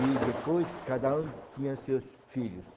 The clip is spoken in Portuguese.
E depois cada um tinha seus filhos.